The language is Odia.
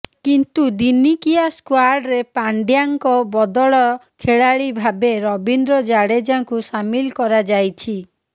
କିନ୍ତୁ ଦିନିକିଆ ସ୍କ୍ୱାଡରେ ପାଣ୍ଡ୍ୟାଙ୍କ ବଦଳ ଖେଳାଳି ଭାବେ ରବୀନ୍ଦ୍ର ଜାଡେଜାଙ୍କୁ ସାମିଲ କରାଯାଇଛି